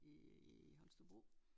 I Holstebro